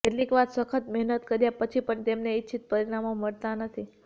કેટલીકવાર સખત મહેનત કર્યા પછી પણ તમને ઇચ્છિત પરિણામો મળતા નથી